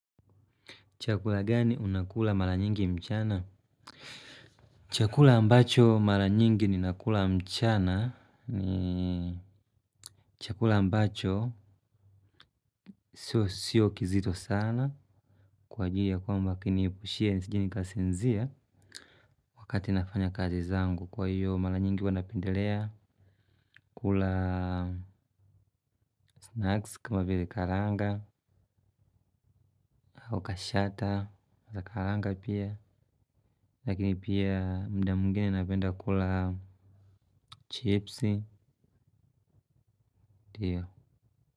Chakula gani unakula mara nyingi mchana? Chakula ambacho mara nyingi ninakula mchana ni chakula ambacho sio kizito sana kwa ajili ya kwamba kiniepushie nisije nikasinzia. Wakati nafanya kazi zangu. Kwa hiyo mara nyingi huwa napendelea kula snacks kama vile karanga au kashata za kukaranga pia. Lakini pia muda mwingine napenda kula chipsi, ndio.